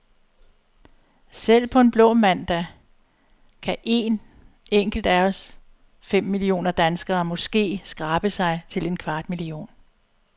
Selv på en blå mandag kan een enkelt af os fem millioner danskere, måske, skrabe sig til en kvart million.